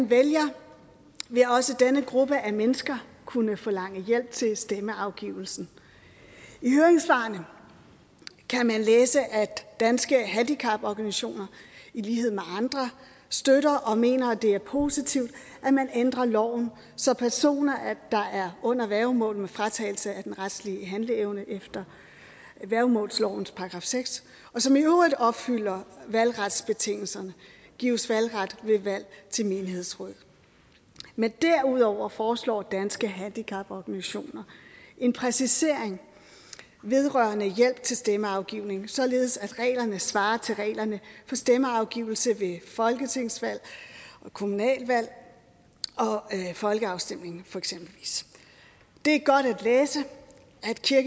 vælgere vil også denne gruppe af mennesker kunne forlange hjælp til stemmeafgivelsen i høringssvarene kan man læse at danske handicaporganisationer i lighed med andre støtter og mener at det er positivt at man ændrer loven så personer der er under værgemål med fratagelse af den retlige handleevne efter værgemålslovens § seks og som i øvrigt opfylder valgretsbetingelserne gives valgret ved valg til menighedsråd men derudover foreslår danske handicaporganisationer en præcisering vedrørende hjælp til stemmeafgivning således at reglerne svarer til reglerne for stemmeafgivelse ved for folketingsvalg kommunalvalg og folkeafstemninger det er godt at læse